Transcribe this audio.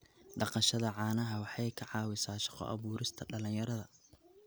Dhaqashada caanaha waxay ka caawisaa shaqo abuurista dhalinyarada.